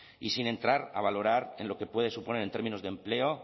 y sin entrar a valorar en lo que puede suponer en términos de empleo